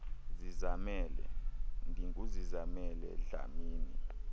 zizamele ndinguzizamele dlamini